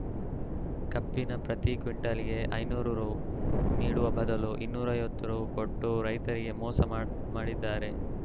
ಕಬ್ಬಿನ ಪತ್ರಿ ಕ್ವಿಂಟಾಲ್‌ಗೆ ಐನೂರು ರು ನೀಡುವ ಬದಲು ಇನ್ನೂರು ಐವತ್ತು ರು ಕೊಟ್ಟು ರೈತರಿಗೆ ಮೊ ಮೋಸ ಮಾಡಿದ್ದಾರೆ